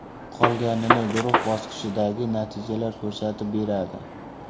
Qolganini guruh bosqichidagi natijalar ko‘rsatib beradi.